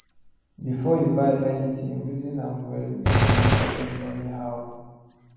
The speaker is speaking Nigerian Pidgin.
before you buy anything reason am well make you no dey spend anyhow